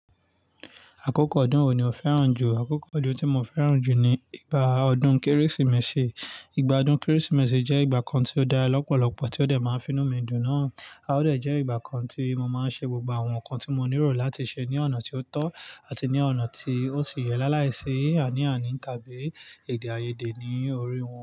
Àkókò ọdún wo ni o fẹ́ràn jù? Àkókò ọdún tí mo fẹ́ràn jù ni ìgbà ọdún Kérésìmesì. Ìgbà ọdún Kérésìmesì jẹ́ ìgbà kan tí ó da lọ́pọ̀lọ́pọ̀ tí ó dẹ̀ máa ń finú mi dùn náà. A ó dẹ̀ jẹ́ ìgbà kan tí mo máa ń ṣe gbogbo àwọn nǹkan tí mo nílò láti ṣe ní ọ̀nà tí ó tọ́ àti ní ọ̀nà tí ó sì yẹ láá láì ṣi àiní àiní tàbí èdè àìyedè ní orí wọn.